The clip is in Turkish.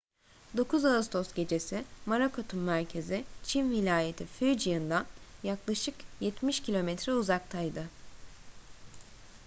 9 ağustos gecesi morakot'un merkezi çin vilayeti fujian'dan yaklaşık yetmiş kilometre uzaktaydı